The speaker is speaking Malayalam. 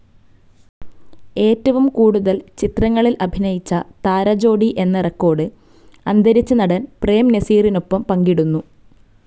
ഏറ്റവും കൂടുതൽ ചിത്രങ്ങളിൽ അഭിനയിച്ച താരജോഡി എന്ന റെക്കോർഡ്‌ അന്തരിച്ച നടൻ പ്രേം നസീറിനൊപ്പം പങ്കിടുന്നു.